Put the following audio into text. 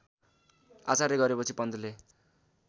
आचार्य गरेपछि पन्तले